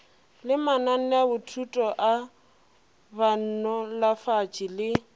le mananeothuto a banolofatši le